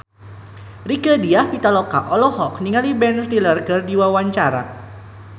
Rieke Diah Pitaloka olohok ningali Ben Stiller keur diwawancara